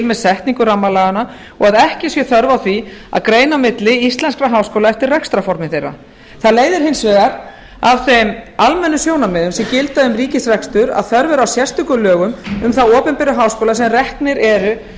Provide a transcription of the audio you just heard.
með setningu rammalaganna og að ekki sé þörf á því að greina á milli íslenskra háskóla eftir rekstrarformi þeirra það leiðir hins vegar af þeim almennu sjónarmiðum sem gilda um ríkisrekstur að þörf er á sérstökum lögum um þá opinberu háskóla sem reknir eru